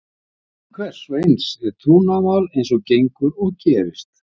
Laun hvers og eins er trúnaðarmál eins og gengur og gerist.